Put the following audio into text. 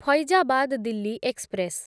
Faizabad Delhi express